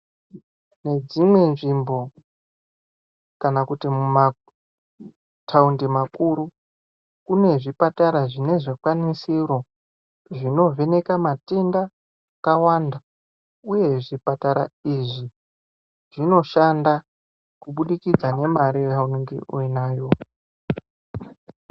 Mune dzimwe nzvimbo kana kuti muma taundi makuru kune zvipatara zvine zvikwanisiro zvinovheneka matenda akawanda uye zvipatara izvi zvinoshanda kuburikidza nemari yaunenge uinayo.